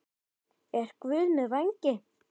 Er Guð með vængi?